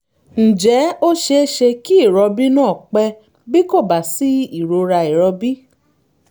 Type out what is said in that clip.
ǹjẹ́ ó ṣe é ṣe kí ìrọbí náà pẹ́ bí kò bá sí ìrora ìrọbí?